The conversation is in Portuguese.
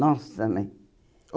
Nossa, né?